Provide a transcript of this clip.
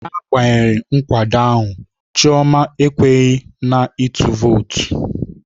N'agbanyeghị nkwado ahụ, Chioma ekweghị na ịtụ vootu.